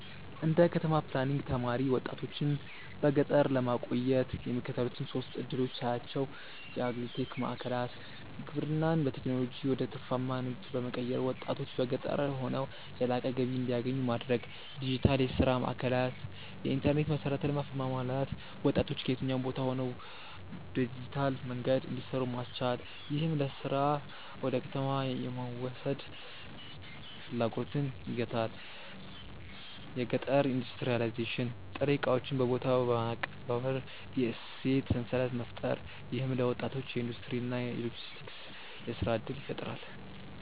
እንደ ከተማ ፕላኒንግ ተማሪ፣ ወጣቶችን በገጠር ለማቆየት የሚከተሉትን ሶስት ዕድሎች ሳያቸው የአግሪ-ቴክ ማዕከላት: ግብርናን በቴክኖሎጂ ወደ ትርፋማ ንግድ በመቀየር፣ ወጣቶች በገጠር ሆነው የላቀ ገቢ እንዲያገኙ ማድረግ። ዲጂታል የሥራ ማዕከላት: የኢንተርኔት መሠረተ ልማት በማሟላት ወጣቶች ከየትኛውም ቦታ ሆነው በዲጂታል መንገድ እንዲሰሩ ማስቻል፣ ይህም ለሥራ ወደ ከተማ የመሰደድ ፍላጎትን ይገታል። የገጠር ኢንዱስትሪያላይዜሽን: ጥሬ ዕቃዎችን በቦታው በማቀነባበር የእሴት ሰንሰለት መፍጠር። ይህም ለወጣቶች የኢንዱስትሪ እና የሎጂስቲክስ የሥራ ዕድል ይፈጥራል።